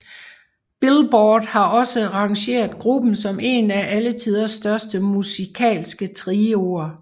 Billboard har også rangeret gruppen som en af alle tiders største musikalske trioer